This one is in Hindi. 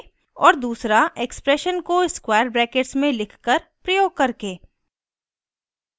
और दूसरा expression को square brackets में लिखकर प्रयोग करके